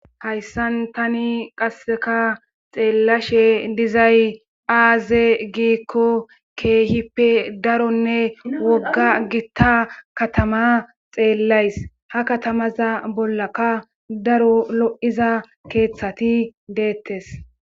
Hayssan tani qasseka xeellashe dizay aaze giikko keehippe daronne wogga gitta katama xeellays hakatamaza bollaka daro lo'iza keeththati deettes.